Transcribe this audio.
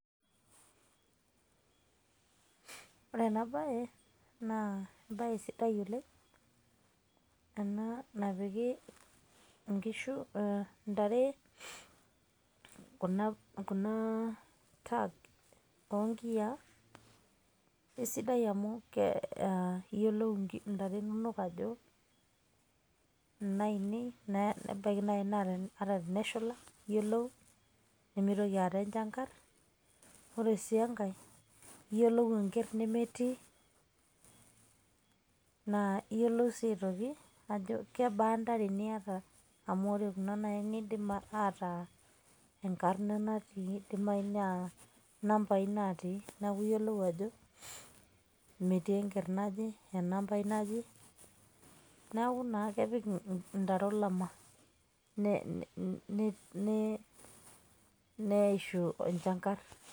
Ore ena bae, naa ebae sidai oleng',ena napiki inkishu intare kuna card onkiyia. Kesidai amu iyiolou intare inonok ajo inainei. Nebaki nai na ata teneshula yiolou, nimitoki aata enchankar. Ore si enkae, yiolou enker nemetii. Na yiolou si aitoki ajo kebaa intare niata amu, ore kuna nai na kidim ataa enkarna natii, kidim ataa inambai natii, neeku iyiolou ajo, metii enker naje, enambai naje. Neeku naa kepik intare olama, neishu enchankar.